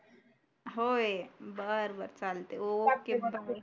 होय बर बर चालते